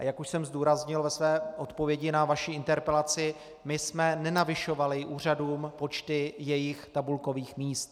A jak už jsem zdůraznil ve své odpovědi na vaši interpelaci, my jsme nenavyšovali úřadům počty jejich tabulkových míst.